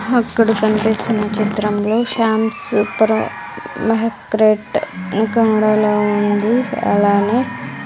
అక్కడ కనిపిస్తున్న చిత్రంలో శ్యామ్ సూపరు మహాక్రట్ ఇంకా ఉంది అలానే--